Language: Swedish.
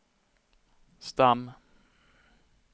stam